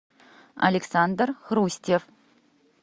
александр хрустьев